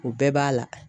O bɛɛ b'a la